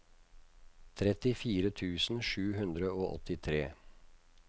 trettifire tusen sju hundre og åttitre